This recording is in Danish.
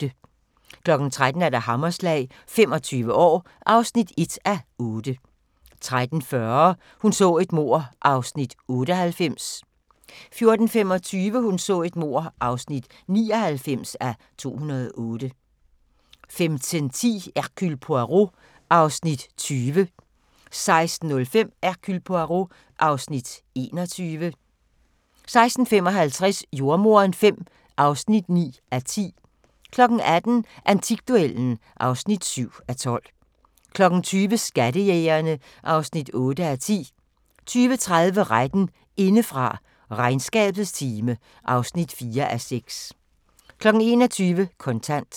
13:00: Hammerslag – 25 år (1:8) 13:40: Hun så et mord (98:268) 14:25: Hun så et mord (99:268) 15:10: Hercule Poirot (Afs. 20) 16:05: Hercule Poirot (Afs. 21) 16:55: Jordemoderen V (9:10) 18:00: Antikduellen (7:12) 20:00: Skattejægerne (8:10) 20:30: Retten indefra – Regnskabets time (4:6) 21:00: Kontant